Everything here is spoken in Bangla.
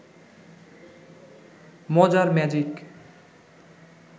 মজার ম্যাজিক